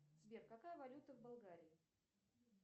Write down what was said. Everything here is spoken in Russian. сбер какая валюта в болгарии